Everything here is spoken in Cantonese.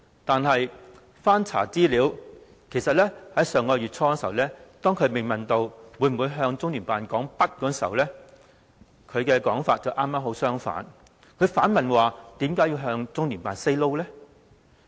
但是，資料顯示，當她在上月初被問到會否向中聯辦說不，她的說法正好相反，還反問為何要向中聯辦 say no？